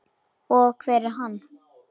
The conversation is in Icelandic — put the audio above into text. Og hver er hann?